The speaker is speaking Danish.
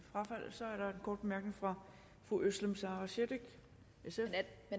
kort bemærkning fra fru özlem sara cekic sf